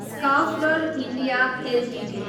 Schaeffler India Ltd